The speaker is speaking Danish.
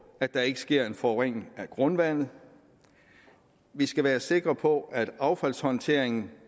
at der ikke sker en forurening af grundvandet vi skal være sikre på at affaldshåndteringen